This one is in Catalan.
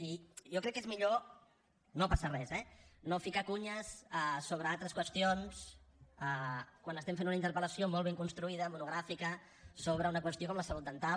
i jo crec que és millor no passa res eh no ficar cunyes sobre altres qüestions quan fem una interpel·lació molt ben construïda monogràfica sobre una qüestió com la salut dental